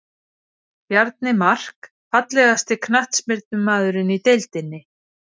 Bjarni Mark Fallegasti knattspyrnumaðurinn í deildinni?